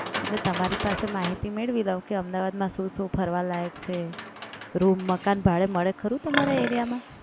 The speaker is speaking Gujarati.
એટલે તમારી પાસે માહિતી મેળવી લઉ કે અમદાવાદમાં શું શું ફરવા લયક છે. રૂમ મકાન ભાડે મળે ખરું તમારા એરિયામાં?